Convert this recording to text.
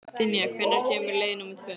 Dynja, hvenær kemur leið númer tvö?